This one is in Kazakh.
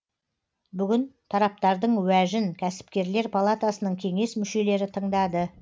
бүгін тараптардың уәжін кәсіпкерлер палатасының кеңес мүшелері тыңдады